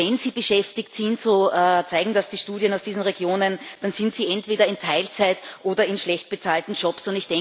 Und wenn sie beschäftigt sind so zeigen das die Studien aus diesen Regionen dann sind sie entweder in Teilzeit oder in schlecht bezahlten Jobs.